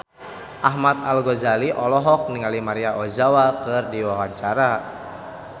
Ahmad Al-Ghazali olohok ningali Maria Ozawa keur diwawancara